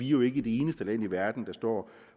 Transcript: jo ikke det eneste land i verden der står